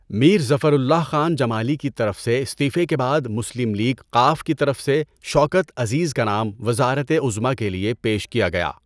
میر Zafarullah Khan Jamali کی طرف سے استعفٰے کے بعد مسلم لیگ ق کی طرف سے شوکت عزیز کا نام وزارتِ عظمٰی کے لیے پیش کیا گیا۔